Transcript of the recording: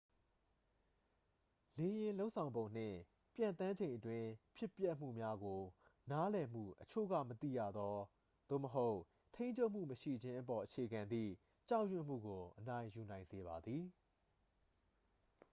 လေယာဉ် လုပ်ဆောင်ပုံနှင့် ပျံသန်းချိန်အတွင်း ဖြစ်ပျက်မှုများကို နားလည်မှု အချို့က မသိရသော သို့မဟုတ် ထိန်းချုပ်မှု မရှိခြင်းအပေါ် အခြေခံသည့် ကြောက်ရွံ့မှုကို အနိုင်ယူနိုင်စေပါသည်